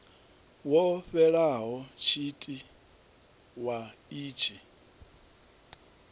wo fhelaho tshite wa itshi